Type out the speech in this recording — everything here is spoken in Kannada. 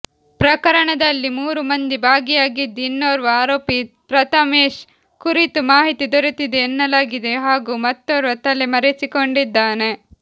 ಪ್ರಕರಣದಲ್ಲಿ ಮೂರು ಮಂದಿ ಭಾಗಿಯಾಗಿದ್ದು ಇನ್ನೋರ್ವ ಆರೋಪಿ ಪ್ರಥಮೇಶ್ ಕುರಿತು ಮಾಹಿತಿ ದೊರೆತಿದೆ ಎನ್ನಲಾಗಿದೆ ಹಾಗೂ ಮತ್ತೋರ್ವ ತಲೆ ಮರೆಸಿಕೊಂಡಿದ್ದಾನೆ